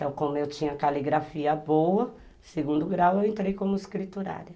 Então, como eu tinha caligrafia boa, segundo grau, eu entrei como escriturária.